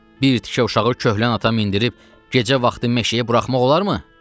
Bir tikə uşağı köhnə ata mindirib gecə vaxtı meşəyə buraxmaq olarmı?